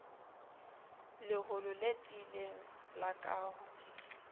leholo le tiileng la kaho